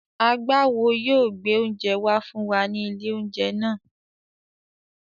Agbáwo yóò gbé oúnjẹ wá fún wa ní ilé-oúnjẹ náà.